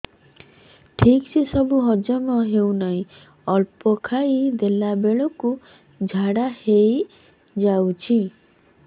ଠିକସେ ସବୁ ହଜମ ହଉନାହିଁ ଅଳ୍ପ ଖାଇ ଦେଲା ବେଳ କୁ ଝାଡା ହେଇଯାଉଛି